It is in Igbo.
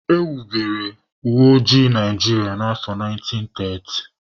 E wubere uweoji Naijiria na afọ 1930